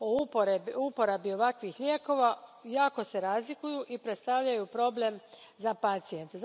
o uporabi ovakvih lijekova jako se razlikuju i predstavljaju problem za pacijente.